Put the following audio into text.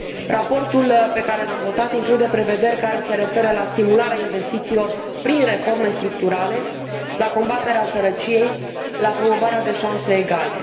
Raportul la pe care l am votat include prevederi care se referă la stimularea investițiilor prin reforme structurale, la combaterea sărăciei, la promovarea șanselor egale.